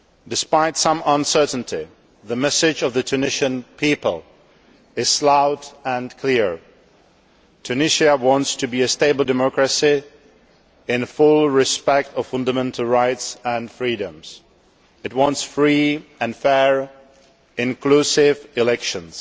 Despite some uncertainty, the message of the Tunisian people is loud and clear Tunisia wants to be a stable democracy that fully respects fundamental rights and freedoms. It wants free and fair, inclusive elections.